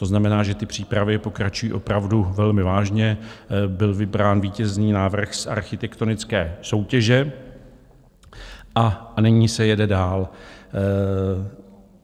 To znamená, že ty přípravy pokračují opravdu velmi vážně, byl vybrán vítězný návrh z architektonické soutěže a nyní se jede dál.